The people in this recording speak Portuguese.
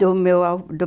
Do meu a do